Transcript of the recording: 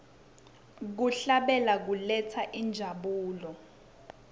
kuhlabela kuletsa injabulo